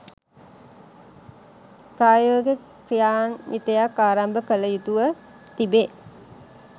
ප්‍රායෝගික ක්‍රියාන්විතයක් ආරම්භ කළ යුතුව තිබේ